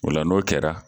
O la n'o kɛra